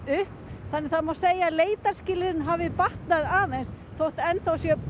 upp þannig að það má segja að leitarskilyrðin hafi batnað aðeins þótt enn þá sé